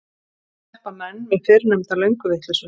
Þannig sleppa menn við fyrrnefnda lönguvitleysu.